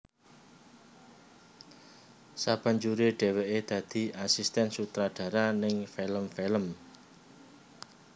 Sabanjure dheweke dadi asisten sutradara ning film film